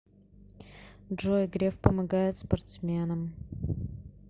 джой греф помогает спортсменам